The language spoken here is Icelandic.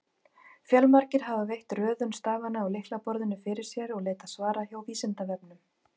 Fjölmargir hafa velt röðun stafanna á lyklaborðinu fyrir sér og leitað svara hjá Vísindavefnum.